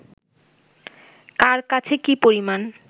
কার কাছে কী পরিমাণ